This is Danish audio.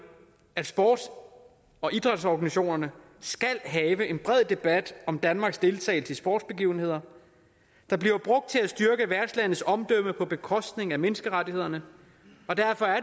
at sports og idrætsorganisationerne skal have en bred debat om danmarks deltagelse i sportsbegivenheder der bliver brugt til at styrke værtslandets omdømme på bekostning af menneskerettighederne og derfor er